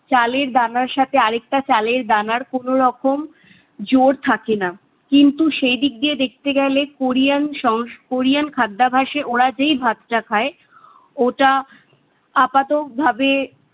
চালের দানার সাথে আরেকটা চালের দানার কোনো রকম জোড় থাকে না। কিন্তু সেদিক দিয়ে দেখতে গেলে কোরিয়ান সং~ কোরিয়ান খাদ্যাবাসে ওরা যেই ভাত তা খায়, ওটা আপাতক ভাবে